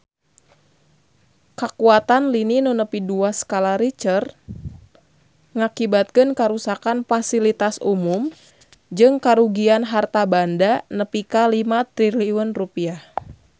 Kakuatan lini nu nepi dua skala Richter ngakibatkeun karuksakan pasilitas umum jeung karugian harta banda nepi ka 5 triliun rupiah